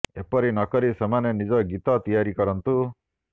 ଏପରି ନ କରି ସେମାନେ ନିଜ ଗୀତ ତିଆରି କରନ୍ତୁ